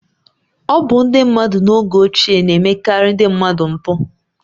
Ọ bụ ndị mmadụ n’oge ochie na-emekarị ndị mmadụ mkpu